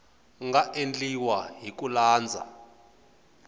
nga endliwa hi ku landza